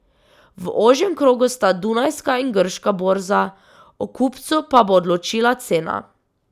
V ožjem krogu sta dunajska in grška borza, o kupcu pa bo odločila cena.